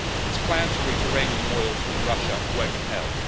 Its plan to route Iranian oil through Russia won't help.